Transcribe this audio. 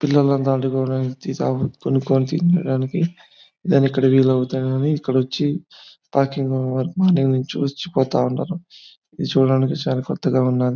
పిల్లలందరికీ కొనుక్కొని తినడానికి ఇక్కడ వెలవుతాయని ఇక్కడొచ్చి పార్కింగ్ పోతా ఉంటారు. ఇది చూడడానికి చాలా కొత్తగా ఉన్నదీ.